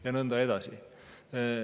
Ja nõnda edasi.